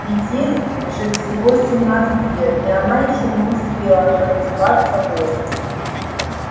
ведь ей же всего семнадцать лет и она ещё не успела натанцеваться вволю